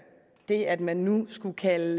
det at man nu skulle kalde